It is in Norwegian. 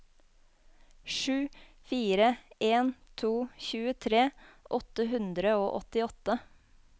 sju fire en to tjuetre åtte hundre og åttiåtte